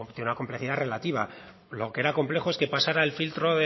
tiene una complejidad relativa lo que era complejo es que pasara el filtro